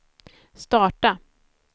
starta